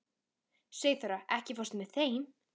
Sigþóra, ekki fórstu með þeim?